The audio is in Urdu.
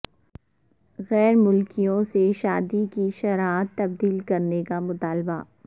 غیر ملکیوں سے شادی کی شرائط تبدیل کرنیکا مطالبہ